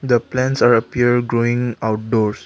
the plants are appear growing outdoors.